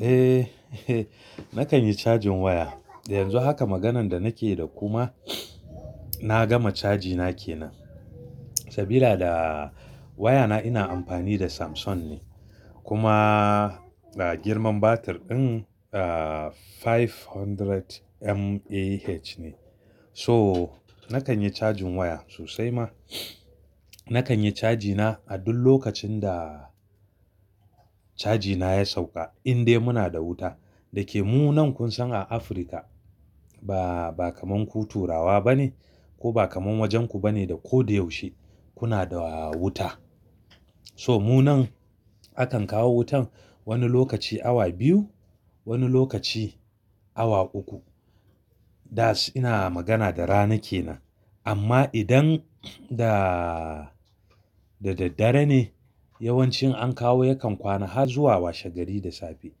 Eh, nakan yi cajin waya. Yanzu haka maganan da nake yi da kuma na gama caji na ke nan. Sabila da waya na ina amfani da Samsung ne. Kuma, ah, girman batir ɗin, ah, 500mAh ne. So, nakan yi cajin waya sosai ma. Nakan yi caji na a duk lokacin da caji na ya sauka, indai muna da wuta. Dake mu nan kun san a Afrika ba, ba kaman ku turawa ba ne, ko ba kaman wajenku ba ne da ko da yaushe kuna da wuta. So mu nan, akan kawo wutan wani lokaci awa biyu, wani lokaci awa uku. That's ina magana da rana ke nan. Amma idan da, da daddare ne yawancin an kawo yakan kwana har zuwa washe gari da safe.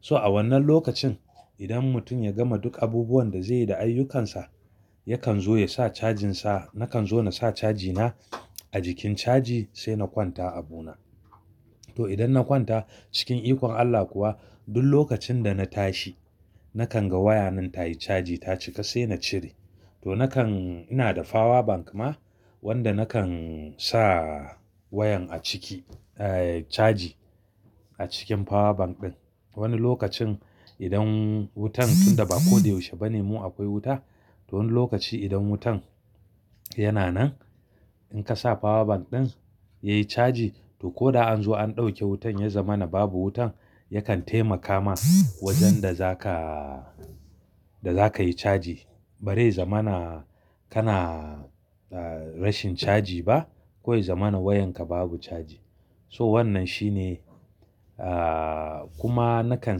So a wannan lokacin idan mutum ya gama duk abubuwan da zai yi da ayyukansa, yakan zo ya sa cajin sa. Nakan zo na sa caji na a jikin caji sai na kwanta abu na. To idan na kwanta cikin ikon Allah kuwa duk lokacin da na tashi nakan ga waya nan tayi caji, ta cika sai na cire. To nakan, ina da power bank ma wanda nakan sa wayan a ciki, eh, caji a cikin power bank ɗin. Wani lokacin idan wutan tunda ba ko da yaushe ba ne mu akwai wuta, to wani lokaci idan wutan yana nan in ka sa power bank ɗin yayi caji, to ko an zo an dauke wutan ya zama na babu wutan yakan taimaka min wajen da zaka, da zakayi caji. Barai zama na kana, ah, rashin caji ba ko ya zama na wayan ka babu caji. So wannan shine, ah, kuma nakan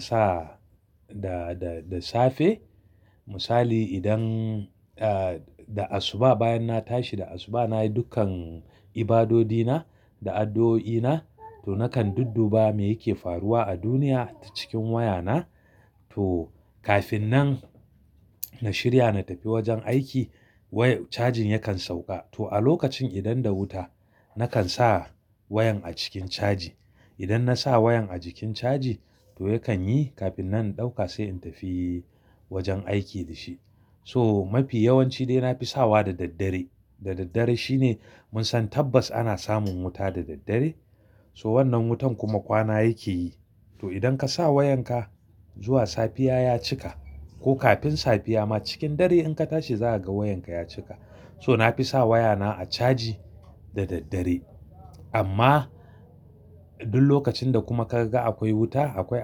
sa da, da, da safe. Misali idan, ah, da asuba bayan na tashi da asuba nayi dukkan ibadodi na da addu'o'i na, to nakan dudduba me yake faruwa a duniya ta cikin waya na. To kafin nan na shirya na tafi wajen aiki waya, cajin yakan sauka. To a lokacin idan da wuta nakan sa wayan a cikin caji. Idan na sa wayan a jikin caji to yakan yi kafin nan in dauka sai in tafi wajen aiki da shi. So mafi yawanci dai nafi sawa da daddare. Da daddare shine mun san tabbas ana samun wuta da daddare. So wannan wutan kuma kwana yake yi. To idan ka sa wayan ka zuwa safiya ya cika ko kafin safiya ma cikin dare in ka tashi za ka ga wayan ka ya cika. So nafi sa waya na a caji da daddare. Amma duk lokacin da kuma ka ga akwai wuta, akwai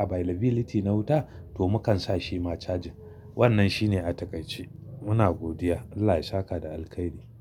availability na wuta to mukan sa shi ma caji. Wannan shine atakai ce. Muna godiya. Allah ya saka da alkairi.